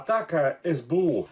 Ataka SBU.